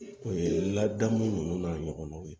O ye ladamuni ninnu n'a ɲɔgɔnnaw ye